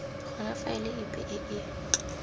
gona faele epe e e